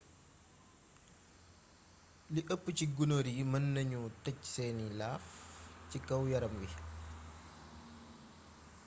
lii ëp ci gunóor yi mën nañu tej seeni laaf ci kaw yaram wi